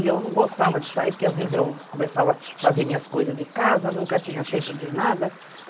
E eu não gostava de sair, porque às vezes eu começava a fazer minhas coisas de casa, nunca tinha tempo de nada.